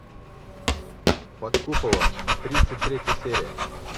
под куполом тридцать третья серия